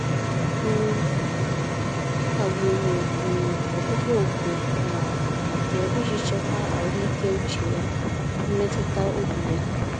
um Ọ kagburu um ọkpụkpọ oku um abụọ iji chekwa ahụike uche ya mmetụtaobi ya.